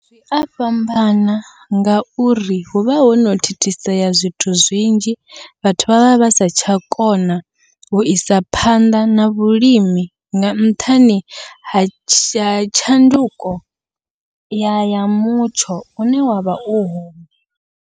Zwia fhambana ngauri huvha hono thithisea zwithu zwinzhi, vhathu vha vha vha sa tsha kona uisa phanḓa na vhulimi nga nṱhani ha tsha tshanduko ya mutsho une wavha u hone.